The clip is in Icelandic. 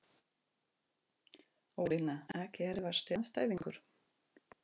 ólína Ekki erfiðasti andstæðingur?